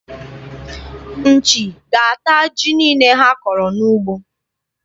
Nchi ga-ata ji niile ha kọrọ n'ugbo.